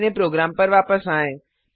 अपने प्रोग्राम पर वापस आएँ